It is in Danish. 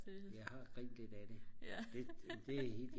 jeg har grint lidt af det